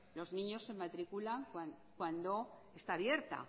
los niños se matriculan cuando está abierta